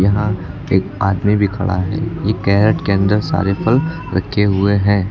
यहां एक आदमी भी खड़ा है ये कैरेट के अंदर सारे फल रखे हुए हैं।